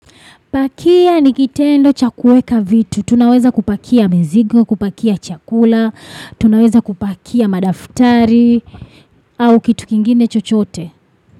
Pakia ni kitendo cha kueka vitu. Tunaweza kupakia mzigo, kupakia chakula. Tunaweza kupakia madaftari. Au kitu kingine chochote.